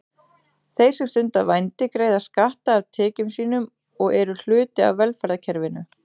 Þeir sem stunda vændi greiða skatta af tekjum sínum og eru hluti af velferðarkerfinu.